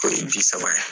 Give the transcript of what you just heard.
O ye ji saba ye